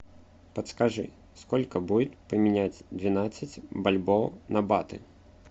подскажи сколько будет поменять двенадцать бальбоа на баты